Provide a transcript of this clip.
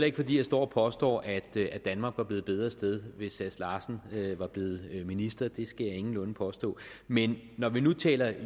ikke fordi jeg står og påstår at danmark var blevet et bedre sted hvis herre sass larsen var blevet minister det skal jeg ingenlunde påstå men når vi nu taler